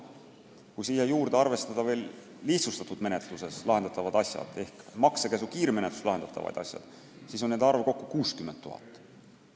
Kui siia juurde arvestada lihtsustatud menetluses lahendatavad asjad ehk maksekäsu kiirmenetluses lahendatavad asjad, siis on nende arv kokku 60 000.